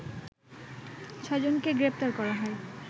ছয়জনকে গ্রেপ্তার করা হয়